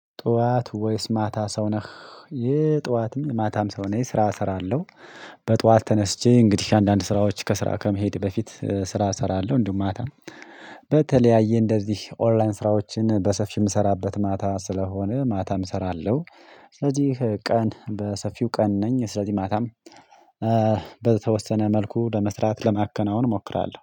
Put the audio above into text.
ጧት ወይስ ማታ ሰው ነህ? የጧትም ማታም ሰው ነኝ ስራ እሰራለሁ በጧት ተነስቼ እንግዲህ አንዳንድ ስራዎች ከስራ ከመሄድ በፊት ስራ እሰራለሁ እንዲሁም ማታ በተለያየ እንደዚህ ኦንላይን ስራዎችን በሰፊው የምሰራበት ማታ ስለሆነ ማታም እሰራለሁ ስለዚህ ቀን በሰፊው ቀን ነኝ ስለዚህ ማታም በተወሰነ መልኩ ለመስራት ለማከናወን እሞክራለሁ